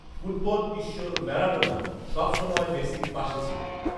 ফুটবলঈশ্বর Maradona সব সময় মেসির পাশে ছিলেন